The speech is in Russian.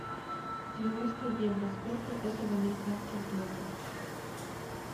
девяносто евро сколько это в американских долларах